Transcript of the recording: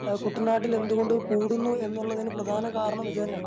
അഹ് കുട്ടനാട്ടിൽ എന്തുകൊണ്ട് കൂടുന്നു എന്നുള്ളതിന് പ്രധാന കാരണമിതാണ്.